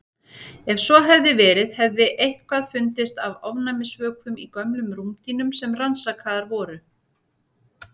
Ef svo hefði verið hefði eitthvað fundist af ofnæmisvökum í gömlum rúmdýnum sem rannsakaðar voru.